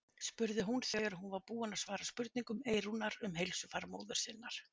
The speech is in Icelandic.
spurði hún þegar hún var búin að svara spurningum Eyrúnar um heilsufar móður sinnar.